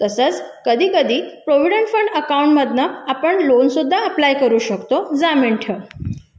तसंच कधी कधी प्रॉव्हिडंट पण अकाउंट मधून आपण लोन सुद्धा अप्लाय करू शकतो जामीन ठेवून